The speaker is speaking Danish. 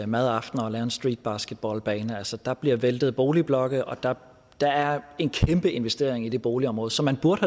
madaftener og lave en streetbasketballbane altså der bliver væltet boligblokke og der der er en kæmpe investering i det boligområde som man burde